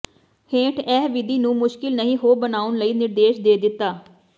ਹੇਠ ਇਹ ਵਿਧੀ ਨੂੰ ਮੁਸ਼ਕਲ ਨਹੀ ਹੋ ਬਣਾਉਣ ਲਈ ਨਿਰਦੇਸ਼ ਦੇ ਦਿੱਤਾ